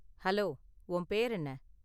Hello, உன் பேரு என்ன?